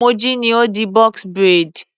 Moji ni ó di box braid.